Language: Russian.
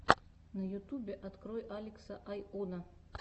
на ютубе открой алекса айоно